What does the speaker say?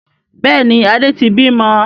Bẹ́ẹ̀ni, Adé tí bí mọ.